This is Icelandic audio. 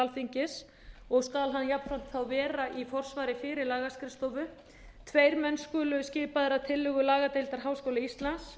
alþingis og skal hann jafnframt vera í forsvari fyrir lagaskrifstofu tveir menn skulu skipaðir að tillögu lagadeildar háskóla íslands